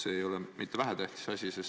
See ei ole mitte vähetähtis asi.